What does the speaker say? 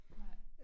Nej